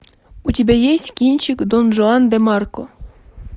у тебя есть кинчик дон жуан де марко